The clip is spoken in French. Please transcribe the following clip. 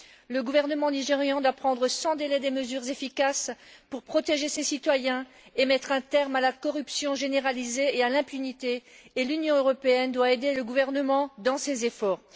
Le gouvernement nigérian doit prendre sans délai des mesures efficaces pour protéger ses citoyens et mettre un terme à la corruption généralisée et à l'impunité, et l'Union européenne doit aider le gouvernement dans ses efforts.